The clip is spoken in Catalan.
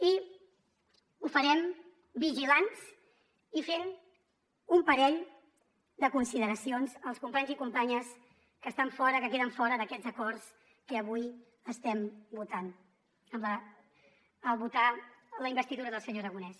i ho farem vigilants i fent un parell de consideracions als companys i companyes que estan fora que queden fora d’aquests acords que avui estem votant en votar la investidura del senyor aragonès